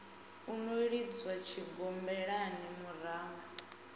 u no lidzwa tshigombelani murumba